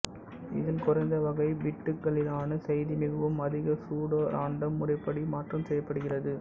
இதில் குறைந்த வகை பிட்டுகளிலான செய்தி மிகவும் அதிக சூடோ ராண்டம் முறைப்படி மாற்றம் செய்யப்படுகிறது